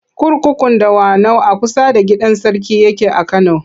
Kurkukun Dawanau a kusa da gidan sarki yake a Kano.